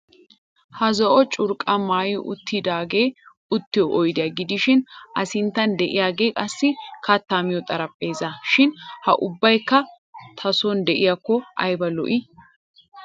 Ha zo"o curqqaa maayi uttidaagee uttiyo oydiya gidishin A sinttan de'iyagee qassi kattaa miyo xarapheezzaa shin ha ubbaykka ta sooni de'iyakko ayba lo"ii.